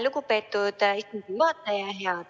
Lugupeetud Riigikogu juhataja!